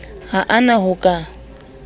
ha a na ho ka